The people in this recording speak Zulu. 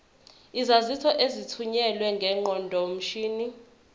izaziso ezithunyelwe ngeqondomshini